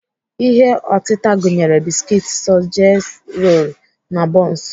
Ihe otịta gụnyere biskit, sọseji rolu, na bọns.